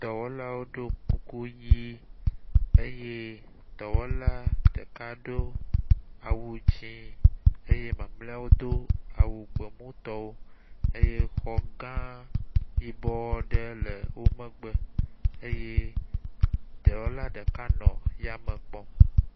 Dɔwɔlawo ɖɔ kuku ʋi eye dɔwɔla ɖeka ɖo awu dzɛ̃ eye mamleawo do awu gbemutɔwo eye xɔ gã yibɔ ɖe le wo megbe eye dɔwɔla ɖeka le yame kpɔm.